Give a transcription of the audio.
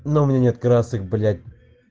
ну у меня нет красок блять